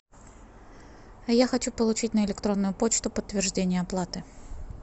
я хочу получить на электронную почту подтверждение оплаты